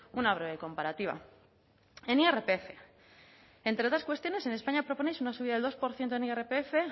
una breve comparativa en irpf entre otras cuestiones en españa proponéis una subida del dos por ciento en irpf